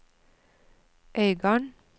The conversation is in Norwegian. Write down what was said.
Øygarden